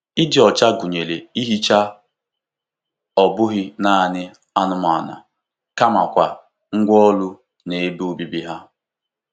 Ịdị ọcha gụnyere ihicha ọ bụghị naanị anụmanụ kamakwa ngwá ọrụ na ebe obibi ha.